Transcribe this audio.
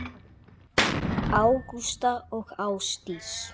Ágústa og Ásdís.